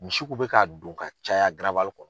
Misi kun bɛ ka don ka caya kɔnɔ